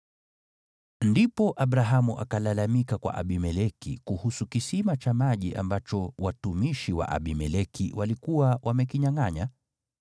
Ndipo Abrahamu akalalamika kwa Abimeleki kuhusu kisima cha maji ambacho watumishi wa Abimeleki walikuwa wamekinyangʼanya.